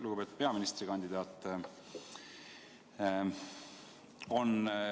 Lugupeetud peaministrikandidaat!